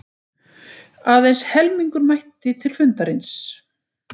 Aðeins helmingur mætti til fundarins